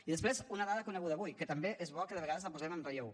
i després una dada coneguda avui que també és bo que de vegades la posem en relleu